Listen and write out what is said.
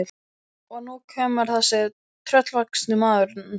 Og nú kemur þessi tröllvaxni maður nær honum.